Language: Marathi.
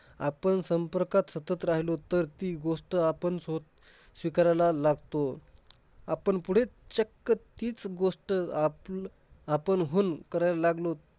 आपण संपर्कात सतत राहिलो तर, ती गोष्ट आपण सोत~ स्वीकारायला लागतो. आपण पुढे चक्क तीच गोष्ट आपलं~ आपणहून करायला लागलो